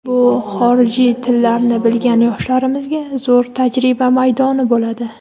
bu xorijiy tillarni bilgan yoshlarimizga zo‘r tajriba maydoni bo‘ladi.